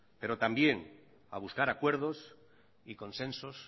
pero también a buscar acuerdos y consensos